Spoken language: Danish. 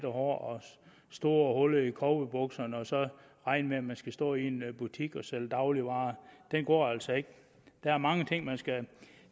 og store huller i cowboybukserne og så regne med at man skal stå i en butik og sælge dagligvarer den går altså ikke der er mange ting man skal